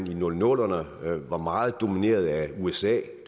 i nullerne var meget domineret af usa